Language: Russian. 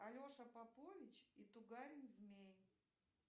алеша попович и тугарин змей